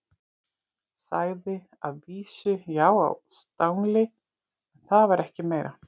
Sagði að vísu já á stangli, en það var ekki meira.